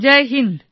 Joy Hind